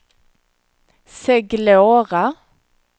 Seglora